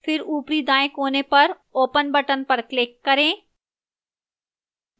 फिर ऊपरी दाएं कोने पर open button पर click करें